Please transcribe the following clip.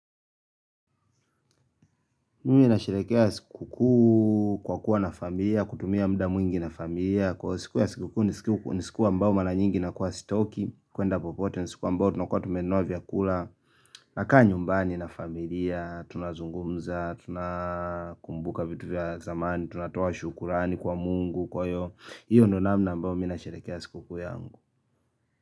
Mimi na sherehekea siku kuu kwa kuwa na familia, kutumia mda mwingi na familia Kwa siku ya siku kuu ni siku ambao mara nyingi na kuwa sitoki kuenda popote ni siku ambao tunakuwa tumenoa vyakula nakaa nyumbani na familia, tunazungumza, tunakumbuka vitu vya zamani tunatoa shukurani kwa mungu kwa hio, hiyo ndo namna ambao minasherehekea siku kuu yangu.